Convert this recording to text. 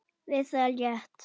Við það lét